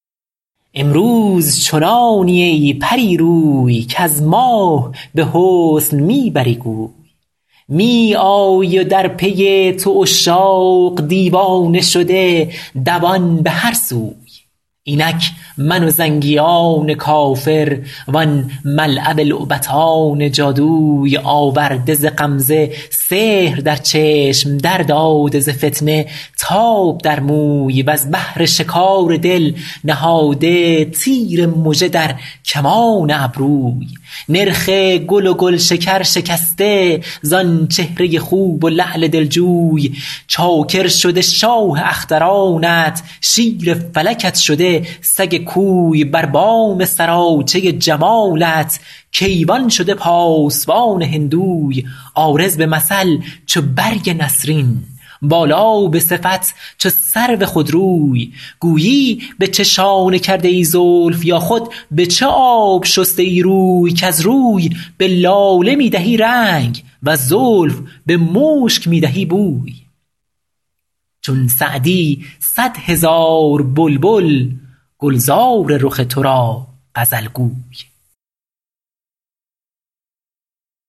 امروز چنانی ای پری روی کز ماه به حسن می بری گوی می آیی و در پی تو عشاق دیوانه شده دوان به هر سوی اینک من و زنگیان کافر وان ملعب لعبتان جادوی آورده ز غمزه سحر در چشم در داده ز فتنه تاب در موی وز بهر شکار دل نهاده تیر مژه در کمان ابروی نرخ گل و گلشکر شکسته زآن چهره خوب و لعل دلجوی چاکر شده شاه اخترانت شیر فلکت شده سگ کوی بر بام سراچه جمالت کیوان شده پاسبان هندوی عارض به مثل چو برگ نسرین بالا به صفت چو سرو خودروی گویی به چه شانه کرده ای زلف یا خود به چه آب شسته ای روی کز روی به لاله می دهی رنگ وز زلف به مشک می دهی بوی چون سعدی صد هزار بلبل گلزار رخ تو را غزل گوی